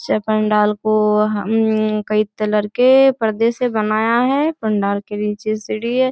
जे पंडाल को हम कई तलर के पर्दे से बनाया है पंडाल के नीचे सीढ़ी है।